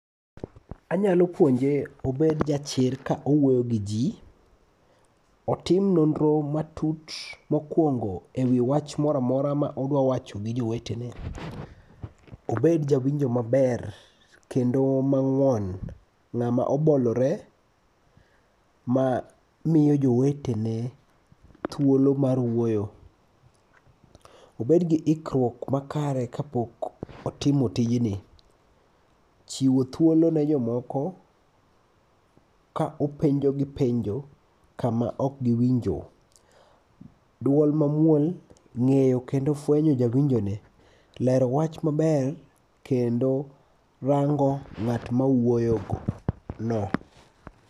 Anyalo puonje obed jachir ka owuoyo gi jii. Otim nonro matut mokuongo e wii wach moramora maodwawacho gi jowetene. Obed jawinjo maber kendo .Ng'ama obolore ma miyo jowetene thuolo mar wuoyo. Obedgi ikruok makare kapok otimo tijni. Chiwo thuolo ne jomoko ka openjogi penjo kama okgiwinjo. Duol mamuol ng'eyo kendo fuenyo jawinjone. Lero wach maber kendo rango ng'at mawuoyo go no.